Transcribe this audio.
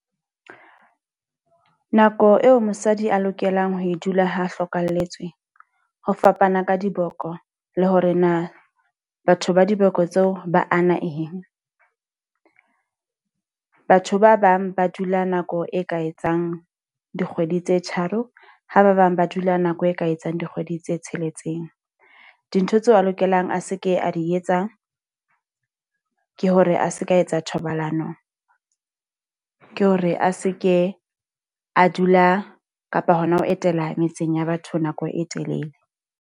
Nako eo mosadi a lokelang ho e dula ha hlokalletswe, ho fapana ka diboko le hore na batho ba diboko tseo ba ana eng. batho ba bang ba dula nako e ka etsang dikgwedi tse tharo, ha ba bang ba dula nako e ka etsang dikgwedi tse tsheletseng. Dintho tseo a lokelang a seke a di etsang, ke hore a se ka etsa thobalano, ke hore a seke a dula kapa hona ho etela metseng ya batho nako e telele.